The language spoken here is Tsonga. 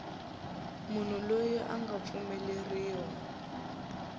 munhu loyi a nga pfumeleriwa